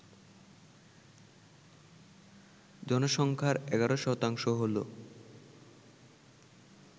জনসংখ্যার ১১% হল